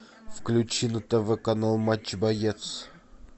включи на тв канал матч боец